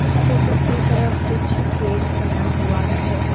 इसके दूसरे तरफ कुछ गेट बना हुआ है।